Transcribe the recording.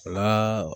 N'a